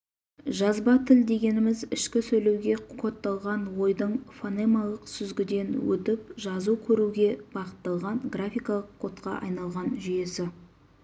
жазба тіл дегеніміз ішкі сөйлеуге кодталған ойдың фонемалық сүзгіден өтіп жазу көруге бағытталған графикалық кодқа айналған жүйесі